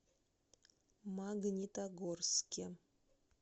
магнитогорске